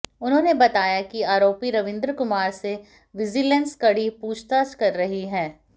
उन्होेंने बताया कि आरोपी रविंद्र कुमार से विजिलेंस कड़ी पूछताछ कर रही है